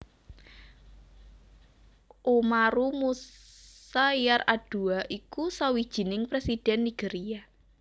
Umaru Musa Yar Adua iku sawijining Présidhèn Nigeria